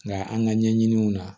Nka an ka ɲɛɲiniw na